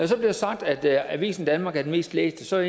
så bliver sagt at avisen danmark er den mest læste så er